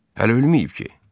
Hələ ölməyib ki?